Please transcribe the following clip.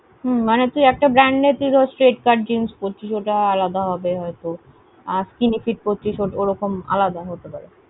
মানে তুই একটা brand এর তুই ধর straight cut jeans পড়ছিস ওটা আলাদা হবে হয়ত আর skinny fit পড়ছিস ওরকম হতে পারে।